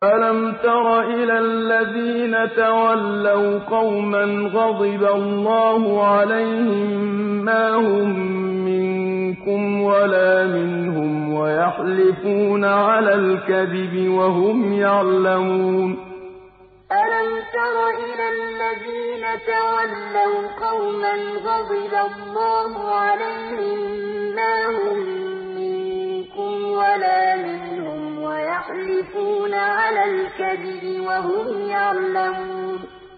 ۞ أَلَمْ تَرَ إِلَى الَّذِينَ تَوَلَّوْا قَوْمًا غَضِبَ اللَّهُ عَلَيْهِم مَّا هُم مِّنكُمْ وَلَا مِنْهُمْ وَيَحْلِفُونَ عَلَى الْكَذِبِ وَهُمْ يَعْلَمُونَ ۞ أَلَمْ تَرَ إِلَى الَّذِينَ تَوَلَّوْا قَوْمًا غَضِبَ اللَّهُ عَلَيْهِم مَّا هُم مِّنكُمْ وَلَا مِنْهُمْ وَيَحْلِفُونَ عَلَى الْكَذِبِ وَهُمْ يَعْلَمُونَ